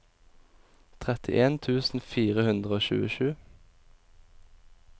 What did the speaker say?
trettien tusen fire hundre og tjuesju